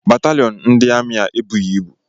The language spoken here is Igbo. Batalịon ndị amị a ebughị ibu.